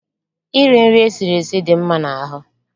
Eating cooked food is healthy.